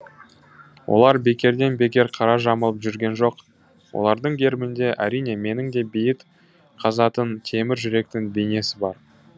олар бекерден бекер қара жамылып жүрген жоқ олардың гербінде әрине менің де бейіт қазатын темір күректің бейнесі бар